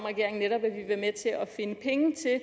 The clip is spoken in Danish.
regeringen er med til at finde penge til at